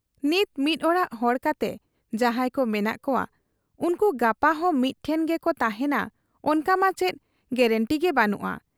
ᱱᱤᱛ ᱢᱤᱫ ᱚᱲᱟᱜ ᱦᱚᱲ ᱠᱟᱛᱮ ᱡᱟᱦᱟᱸᱭ ᱠᱚ ᱢᱮᱱᱟᱜ ᱠᱚᱣᱟ, ᱩᱱᱠᱩ ᱜᱟᱯᱟᱦᱚᱸ ᱢᱤᱫ ᱴᱷᱮᱫ ᱜᱮᱠᱚ ᱛᱟᱦᱮᱸᱱᱟ ᱚᱱᱠᱟᱢᱟ ᱪᱮᱫ ᱜᱮᱨᱮᱱᱴᱤᱜᱮ ᱵᱟᱹᱱᱩᱜ ᱟ ᱾